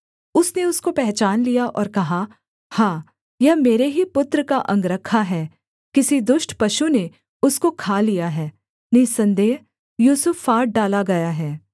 उसने उसको पहचान लिया और कहा हाँ यह मेरे ही पुत्र का अंगरखा है किसी दुष्ट पशु ने उसको खा लिया है निःसन्देह यूसुफ फाड़ डाला गया है